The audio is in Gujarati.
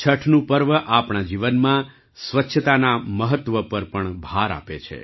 છઠનું પર્વ આપણા જીવનમાં સ્વચ્છતાના મહત્ત્વ પર પણ ભાર આપે છે